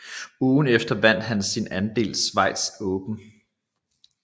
Ugen efter vandt han sit andet Swiss Open